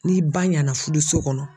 Ni ba ɲɛna furuso kɔnɔ